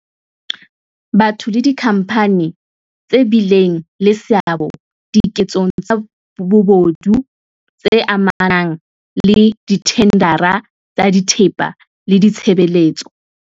Batho le dikhampani tse bileng le seabo dike tsong tsa bobodu tse amanang le dithendara tsa thepa le ditshebele tso tsa